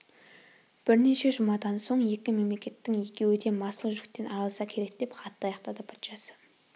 бірнеше жұмадан соң екі мемлекеттің екеуі де масыл жүктен арылса керек деп хатты аяқтады патшасы